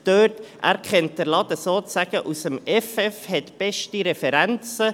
Er kennt den «Laden» sozusagen aus dem Effeff und hat beste Referenzen.